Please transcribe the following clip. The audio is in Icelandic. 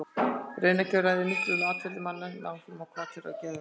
Randkerfið ræður miklu um atferli manna með áhrifum á hvatir og geðhrif.